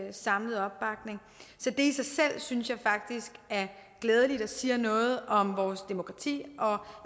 en samlet opbakning så det i sig selv synes jeg faktisk er glædeligt og siger noget om vores demokrati og